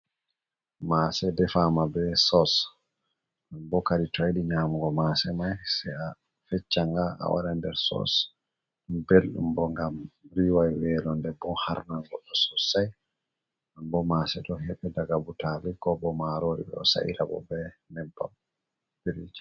Maase defaama be sos, bo kadin to a yiɗi nyamugo maase may, sey a feccanga a waɗa nder sos, ɗum belɗum bo ngam riway weelo, nden bo harnan goɗɗo sosay. Bo maase ɗo heɓe daga butaali ko bo maaroori, ɓe ɗo sa'ira bo be nebbam.